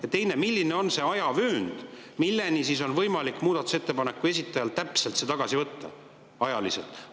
Ja teiseks, milline on aja, mis ajani täpselt on võimalik muudatusettepaneku esitajal see tagasi võtta?